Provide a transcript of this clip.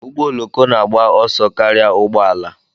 Ụgbọ oloko na-agba ọsọ karịa ụgbọ ala.